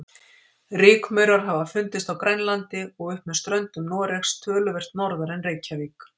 Rykmaurar hafa fundist á Grænlandi og upp með ströndum Noregs, töluvert norðar en Reykjavík.